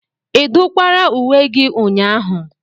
Ị dụkwara uwe gị ụnyahụ?